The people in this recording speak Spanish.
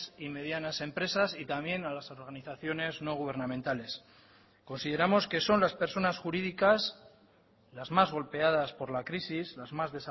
y medianas empresas y también a las organizaciones no gubernamentales consideramos que son las personas jurídicas las más golpeadas por la crisis las más